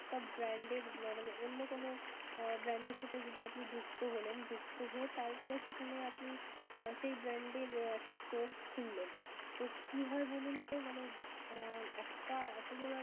একটা brand এর মানে অন্য কোন brand এর সাথে যদি আপনি যুক্ত হলেন, যুক্ত হয়ে তারপরে সেখানে আপনি সেই brand এর একটা store খুললেন. তো কি হয় বলুন তো মানে একটা এতো বড়